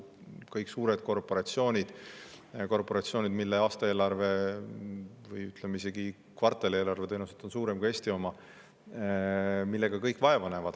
Kõik suured korporatsioonid, mille aastaeelarve või isegi kvartalieelarve on tõenäoliselt suurem kui Eesti oma, näevad sellega vaeva.